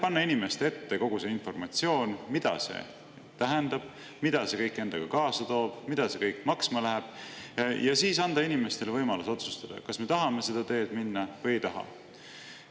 Panna inimeste ette kogu see informatsioon, mida see tähendab, mida see kõik endaga kaasa toob, mida see kõik maksma läheb, ja siis anda inimestele võimalus otsustada, kas me tahame seda teed minna või ei taha.